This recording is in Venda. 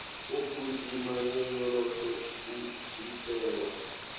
u gidima nyonyoloso i itelwa